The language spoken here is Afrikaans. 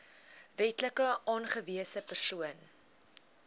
wetlik aangewese persoon